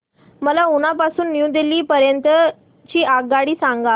मला उना पासून न्यू दिल्ली पर्यंत ची आगगाडी सांगा